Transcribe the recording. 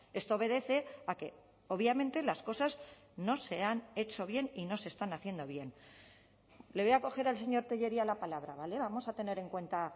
esto obedece a que obviamente las cosas no se han hecho bien y no se están haciendo bien le voy a coger al señor tellería la palabra vale vamos a tener en cuenta